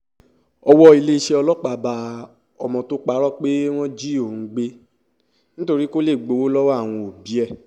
owó iléeṣẹ́ ọlọ́pàá bá ọmọ tó parọ́ pé wọ́n jí òun gbé nítorí kó lè gbowó lọ́wọ́ àwọn òbí ẹ̀